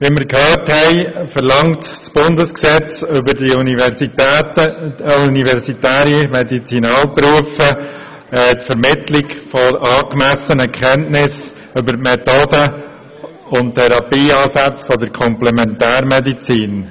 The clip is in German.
Wie wir gehört haben, verlangt das Bundesgesetz über die universitären Medizinalberufe die Vermittlung angemessener Kenntnisse über die Methoden und Therapieansätze der Komplementärmedizin.